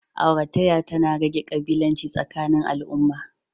Auratayya tana rage ƙabilanci tsakanin al'umma.